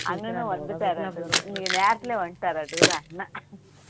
அண்ணனும் வந்துட்டாரு இன்னைக்கு நேரத்துக்கே வந்துட்டாரு அண்ணன்